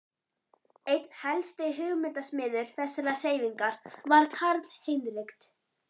Einn helsti hugmyndasmiður þessarar hreyfingar var Karl Heinrich